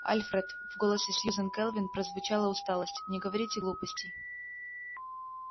альфред в голосе сьюзен кэлвин прозвучала усталость не говорите глупостей